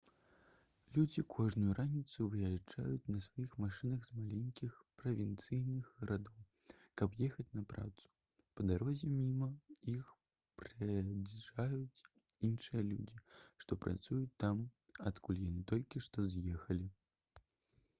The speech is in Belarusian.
людзі кожную раніцу выязджаюць на сваіх машынах з маленькіх правінцыйных гарадоў каб ехаць на працу па дарозе міма іх праязджаюць іншыя людзі што працуюць там адкуль яны толькі што з'ехалі